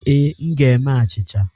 Ee, m ga-eme achịcha.